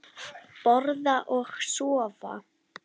Borða og sofa.